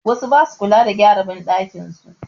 Wasu ba su kula da gyara banɗakin su.